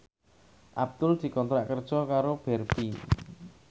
Abdul dikontrak kerja karo Barbie